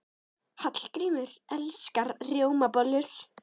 Hallgrímur elskar rjómabollur.